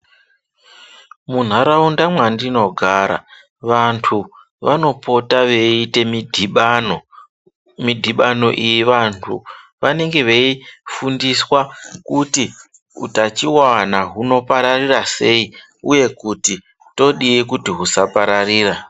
Muntaraunda mwandinogara vantu vanopota veiite midhibano. Midhibano iyi vantu vanenge veifundiswa kuti utachivana hunopararira sei, uye kuti todii kuti husapararira.